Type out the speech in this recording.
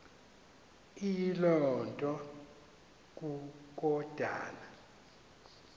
eyiloo nto kukodana